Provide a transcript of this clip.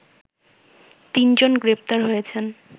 তিনজন গ্রেপ্তার হয়েছেন